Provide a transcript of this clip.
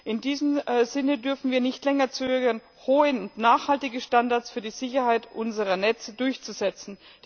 In diesem Sinne dürfen wir nicht länger zögern, hohe und nachhaltige Standards für die Sicherheit unserer Netze durchzusetzen.